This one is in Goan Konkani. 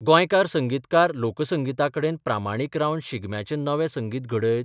गौयकार संगीतकार लोक संगिताकडेन प्रामाणीक रावन शिगम्याचें नवें संगीत घड्यत?